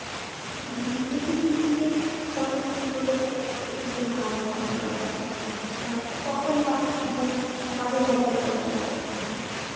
মানে প্রত্যেকটা সম্পর্কে সবকিছু সম্পর্কে সবারই একটু একটু ধারণা থাকা দরকার জি জি জি আহ কখন কাজে লাগবে বলা তো যাই না সেটাই